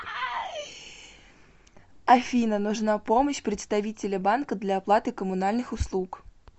афина нужна помощь представителя банка для оплаты коммунальных услуг